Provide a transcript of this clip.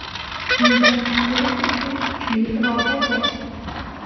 Undan qutulish uchun kuchli iroda kerak.